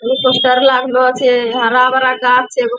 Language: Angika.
हेलीकाप्टर लागलो छै हरा-भरा गाछ छे। एगो --